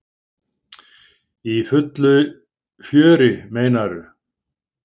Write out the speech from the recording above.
Í fullu fjöri, meinarðu?